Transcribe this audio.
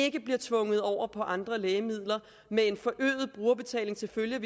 ikke bliver tvunget over på andre lægemidler med forøget brugerbetaling til følge